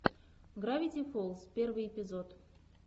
гравити фолз первый эпизод